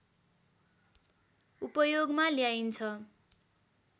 उपयोगमा ल्याइन्छ